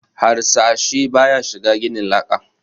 Harsashi ba ya shiga ginin laka